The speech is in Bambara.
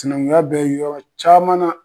Sinankunya bɛ yɔrɔ caman na.